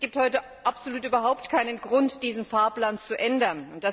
Es gibt heute überhaupt keinen Grund, diesen Fahrplan zu ändern.